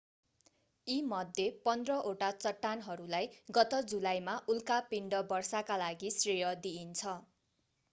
यी मध्ये पन्ध्र वटा चट्टानहरूलाई गत जुलाईमा उल्का पिण्ड वर्षाका लागि श्रेय दिइन्छ